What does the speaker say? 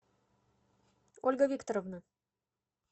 ольга викторовна